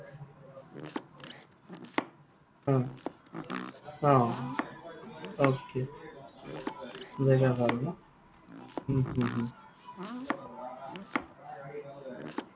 অ। okay জেগা ভাল ন? হম হম হম